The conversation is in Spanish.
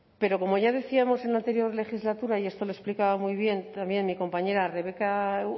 pero como ya decíamos en la anterior legislatura y esto lo explicaba muy bien también mi compañera rebeka